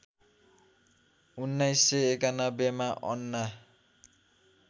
१९९१ मा अन्ना